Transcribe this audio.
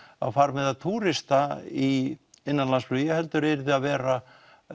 á farmiða túrista í innanlandsflugi heldur yrði að vera